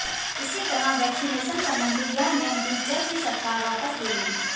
इसी तरह वैक्सीनेशन संबंधी यह नियम भी जल्द ही सरकार वापस ले लेगी